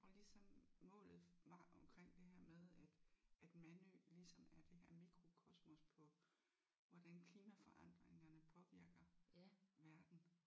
Og ligesom målet var omkring det her med at at Mandø ligesom er det her mikrokosmos på hvordan klimaforandringerne påvirker verden